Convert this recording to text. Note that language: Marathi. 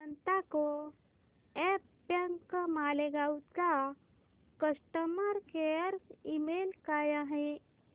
जनता को ऑप बँक मालेगाव चा कस्टमर केअर ईमेल काय आहे